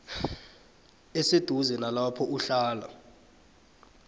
eseduze nalapho uhlala